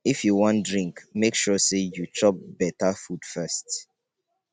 if you wan drink make sure say you chop beta food first.